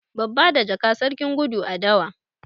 Babba da jaka, sarkin gudu a dawa.